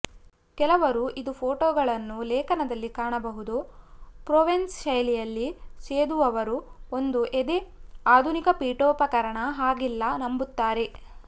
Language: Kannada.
ಕೆಲವರು ಇದು ಫೋಟೋಗಳನ್ನು ಲೇಖನದಲ್ಲಿ ಕಾಣಬಹುದು ಪ್ರೊವೆನ್ಸ್ ಶೈಲಿಯಲ್ಲಿ ಸೇದುವವರು ಒಂದು ಎದೆ ಆಧುನಿಕ ಪೀಠೋಪಕರಣ ಹಾಗಿಲ್ಲ ನಂಬುತ್ತಾರೆ